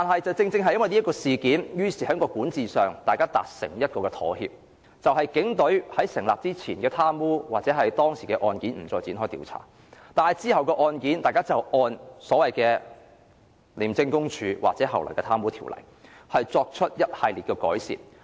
在發生警廉衝突事件後，大家在管治上達成妥協，警隊在廉署成立前涉及的貪污案件不再展開調查，而往後的案件，大家則按《廉政公署條例》作出一系列的改善。